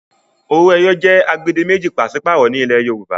owoeye jé agbedemeji paṣipaarọ ní ilè Yorùbá.